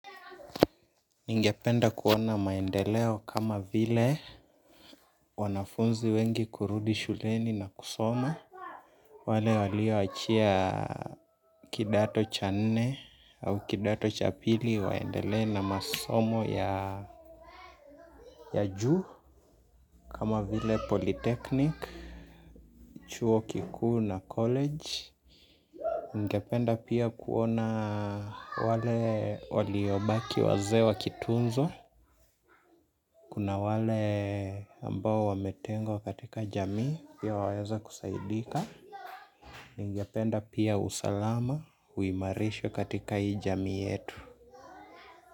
Ningependa kuona maendeleo kama vile wanafunzi wengi kurudi shuleni na kusoma. Wale walioachia kidato cha nne au kidato cha pili waendele na masomo ya juu kama vile polytechnic, chuo kikuu na college ningependa pia kuona wale waliobaki wazee wa kitunzo. Kuna wale ambao wametengwa katika jamii pia waweza kusaidika. Ningependa pia usalama uimarisho katika hii jamii yetu.